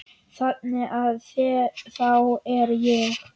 Þannig að þá er ég.